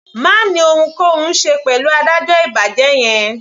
Má ni ohunkóhun ṣe pẹ̀lú adájọ́ ìbàjẹ́ yẹn.